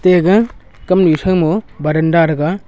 te gaga kamnyu thrang mo baranda rega.